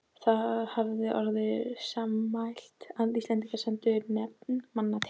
Það hafði orðið sammæli, að Íslendingar sendu nefnd manna til